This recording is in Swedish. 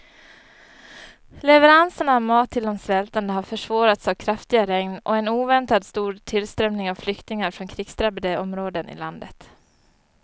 Leveranserna av mat till de svältande har försvårats av kraftiga regn och en oväntat stor tillströmning av flyktingar från krigsdrabbade områden i landet.